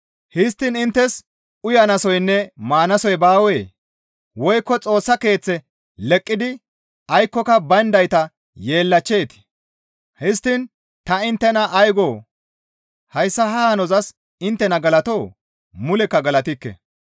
Histtiin inttes uyanasoynne maanasoy baawee? Woykko Xoossa Keeththe leqqidi aykkoyka bayndayta yeellachcheetii? Histtiin ta inttena ay goo? Hayssa ha hanozas inttena galatoo? Mulekka galatikke.